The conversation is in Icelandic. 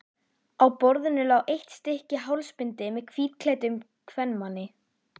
Á kynlífi og ást er gerður greinarmunur en ekki eðlismunur.